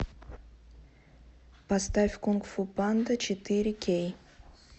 поставь кунг фу панда четыре кей